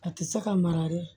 A tɛ se ka mara dɛ